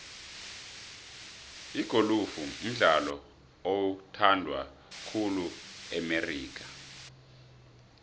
igolufu mdlalo oyhandwa khulu e amerika